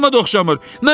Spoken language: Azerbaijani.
Adama da oxşamır.